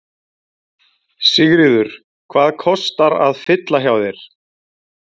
Sigríður: Hvað kostar að fylla hjá þér?